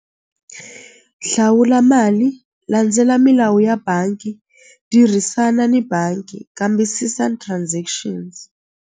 Hlawula mali landzela milawu ya bangi tirhisana ni bangi kambisisani transactions.